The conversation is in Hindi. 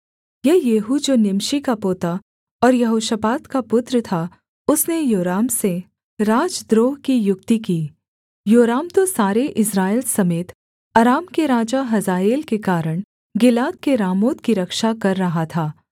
यह येहू जो निमशी का पोता और यहोशापात का पुत्र था उसने योराम से राजद्रोह की युक्ति की योराम तो सारे इस्राएल समेत अराम के राजा हजाएल के कारण गिलाद के रामोत की रक्षा कर रहा था